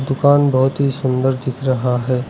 दुकान बहुत ही सुंदर दिख रहा है।